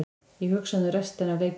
Ég hugsaði um restina af leikjunum.